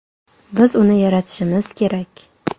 Biz uni yaratishimiz kerak.